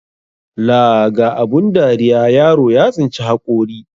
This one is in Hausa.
Laa ga abun dariya, yaro ya tsinci haƙori.